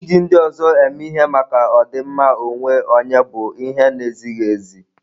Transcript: Iji ndị ọzọ eme ihe maka ọdịmma onwe onye bụ ihe na-ezighị ezi.